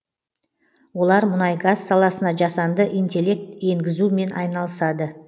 олар мұнай газ саласына жасанды интеллект енгізумен айналысады